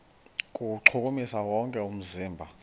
kuwuchukumisa wonke umzimba